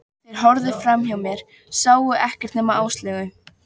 Þeir horfðu framhjá mér, sáu ekkert nema Áslaugu.